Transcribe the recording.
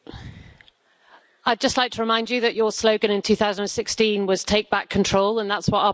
I'd just like to remind you that your slogan in 2016 was Take back control' and that's what our parliament's doing.